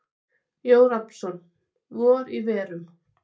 Jón Rafnsson: Vor í verum.